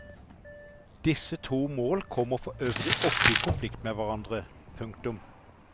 Disse to mål kommer forøvrig ofte i konflikt med hverandre. punktum